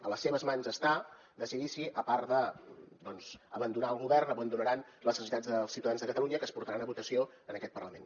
a les seves mans està decidir si a part de doncs abandonar el govern abandonaran les necessitats dels ciutadans de catalunya que es portaran a votació en aquest parlament